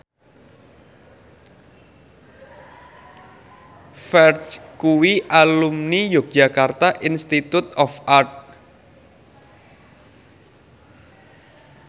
Ferdge kuwi alumni Yogyakarta Institute of Art